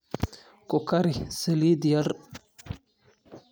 Ku kari saliid yar.